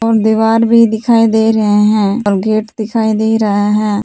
और दीवार भी दिखाई दे रहे हैं और गेट दिखाई दे रहा है।